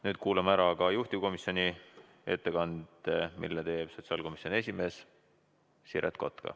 Nüüd kuulame ära juhtivkomisjoni ettekande, mille teeb sotsiaalkomisjoni esimees Siret Kotka.